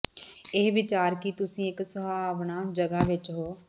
ਇਹ ਵਿਚਾਰ ਕਿ ਤੁਸੀਂ ਇੱਕ ਸੁਹਾਵਣਾ ਜਗ੍ਹਾ ਵਿੱਚ ਹੋ